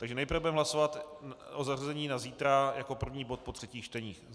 Takže nejprve budeme hlasovat o zařazení na zítra jako první bod po třetích čteních.